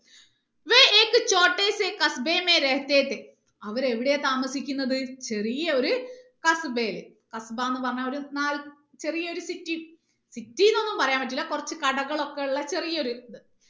അവര് എവിടെയാണ് താമസിക്കുന്നത് ചെറിയ ഒരു യിൽ എന്ന് പറഞ്ഞാൽ ഒര് നാൽ ചെറിയ ഒരു city ൽ city നൊന്നും പറയാൻ പറ്റൂല കുറച്ച് കടകൾ ഒക്കെ ഉള്ള ചെറിയ ഒരു ഇത്